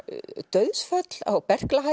dauðsföll á